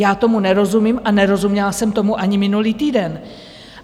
Já tomu nerozumím a nerozuměla jsem tomu ani minulý týden.